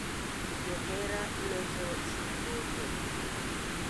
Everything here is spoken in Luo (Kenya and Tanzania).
johera loso singo kod teru.